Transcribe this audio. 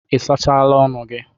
Ị sachala ọnụ gị?